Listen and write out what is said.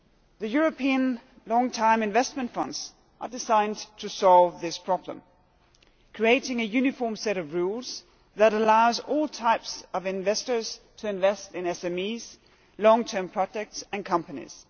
The European Long term Investment Funds are designed to solve this problem, creating a uniform set of rules that allows all types of investors to invest in SMEs, long term projects and companies.